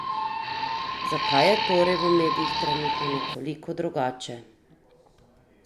Zakaj je torej v medijih, trenutno, nekoliko drugače?